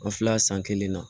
An filɛ san kelen na